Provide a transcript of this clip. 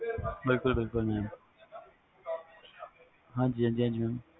ਬਿਲਕੁਲ ਬਿਲਕੁਲ